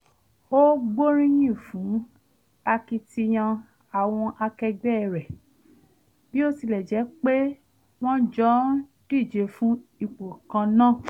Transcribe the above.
ó gbóríyìn fún akitiyan àwọn akẹgbẹ́ rẹ̀ bí ó tilẹ̀ jẹ́ pe wọn jọ ń díje fún ipò kan náà